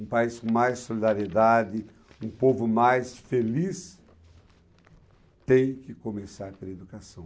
um país com mais solidariedade, um povo mais feliz, tem que começar pela educação.